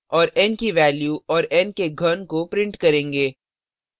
और n की value और n के घन को print करेंगे